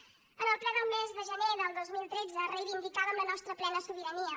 en el ple del mes de gener del dos mil tretze reivindicàvem la nostra plena sobirania